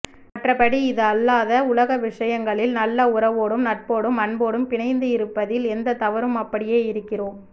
மற்றபடி இது அல்லாத உலக விசயங்களில் நல்ல உறவோடும் நட்போடும் அன்போடும் பிணைந்து இருப்பதில் எந்த தவறும் அப்படியே இருக்கிறோம்